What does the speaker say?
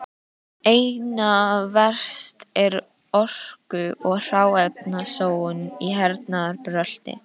Einna verst er orku- og hráefnasóun í hernaðarbrölti.